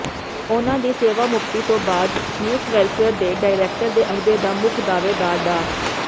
ਉਨ੍ਹਾਂ ਦੀ ਸੇਵਾਮੁਕਤੀ ਤੋਂ ਬਾਅਦ ਯੂਥ ਵੈੱਲਫੇਅਰ ਦੇ ਡਾਇਰੈਕਟਰ ਦੇ ਅਹੁਦੇ ਦਾ ਮੁੱਖ ਦਾਅਵੇਦਾਰ ਡਾ